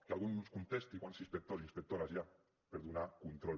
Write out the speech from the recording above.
que algú ens contesti quants inspectors i inspectores hi ha per donar control